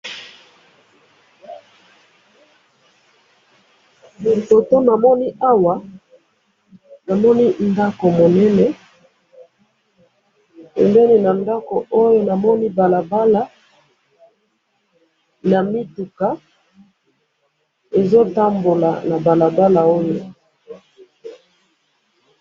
foto namoni awa namoni ndaku munene pembeni na ndaku oyo namoni balala na mituka ezo tambola na balabala oyo